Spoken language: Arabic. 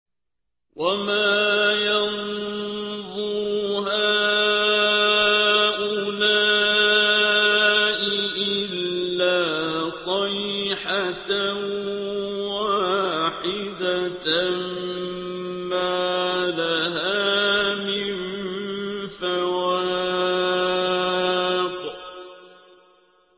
وَمَا يَنظُرُ هَٰؤُلَاءِ إِلَّا صَيْحَةً وَاحِدَةً مَّا لَهَا مِن فَوَاقٍ